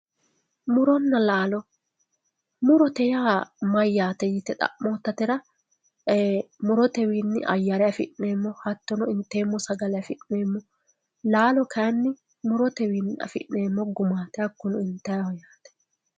Muronna laalo, murote yaa mayyate yte xa'mottatera e"ee murotewinni ayyare affi'neemmo hattono inteemmo sagale affi'neemmo, laalo kayinni murotewinni affi'neemmo gumati hakkuno intaniho yaate.